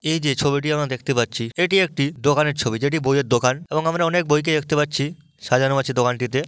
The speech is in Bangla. এই যে ছবিটি আমরা দেখতে পাচ্ছি এটি একটি দোকানের ছবি যেটি বইয়ের দোকান এবং আমরা অনেক বই কে দেখতে পাচ্ছি সাজানো আছে দোকানটিতে।